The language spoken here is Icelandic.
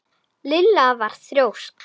Lilla var þrjósk.